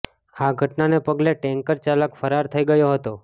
આ ઘટનાને પગલે ટેન્કર ચાલક ફરાર થઇ ગયો હતો